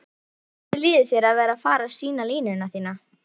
Hvernig líður þér að vera fara sýna línuna þína?